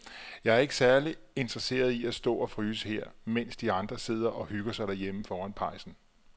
Jeg er ikke særlig interesseret i at stå og fryse her, mens de andre sidder og hygger sig derhjemme foran pejsen.